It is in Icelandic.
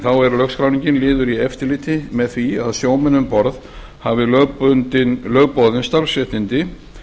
þá er lögskráningin liður í eftirliti með því að sjómenn um borð hafi lögboðin starfsréttindi